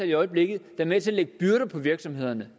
i øjeblikket der er med til at lægge byrder på virksomhederne